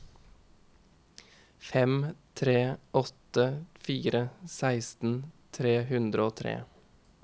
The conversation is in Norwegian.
fem tre åtte fire seksten tre hundre og tre